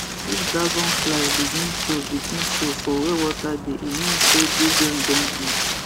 if dragonfly begin show begin show for where water dey e mean say big rain don near